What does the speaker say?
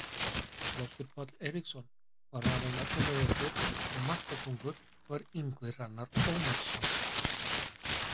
Loftur Páll Eiríksson var valinn efnilegastur og markakóngur var Ingvi Hrannar Ómarsson.